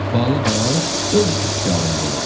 Balı da öz ixtiyarında olacaq.